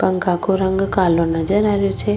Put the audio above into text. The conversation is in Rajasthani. पंखा को रंग कालो नजर आ रियो छे।